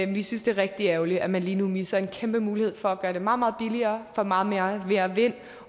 vi synes det er rigtig ærgerligt at man lige nu misser en kæmpe mulighed for at gøre det meget meget billigere at få meget mere mere vind